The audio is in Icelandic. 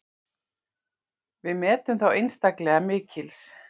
Við metum þá einstaklega mikils.